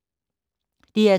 DR2